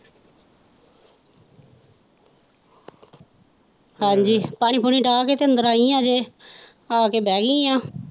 ਹਾਂਜ਼ੀ ਪਾਣੀ ਪੁਣੀ ਡਾਹ ਕੇ ਤੇ ਅੰਦਰ ਆਈ ਹੈ ਅਜੇ ਆ ਕੇ ਬਹਿ ਗਈ ਹੈ।